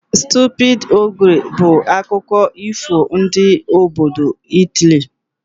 Stupid ogre' bụ akụkọ ifo ndị obodo Italy